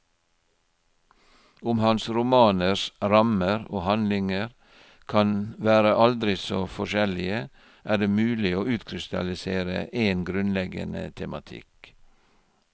Om hans romaners rammer og handlinger kan være aldri så forskjellige, er det mulig å utkrystallisere en grunnleggende tematikk.